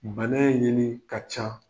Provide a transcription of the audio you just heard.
Bana in ninun ka ca.